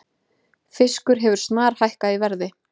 Fiskur hefur snarhækkað í verði